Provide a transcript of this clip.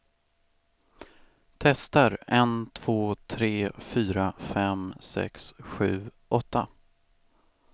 Testar en två tre fyra fem sex sju åtta.